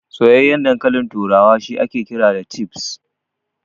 Soyayyan dankalin turawa shi ake cewa Chips.